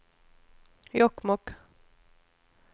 Jokkmokk